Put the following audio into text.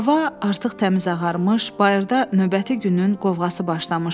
Hava artıq təmiz ağarmış, bayırda növbəti günün qovğası başlamışdı.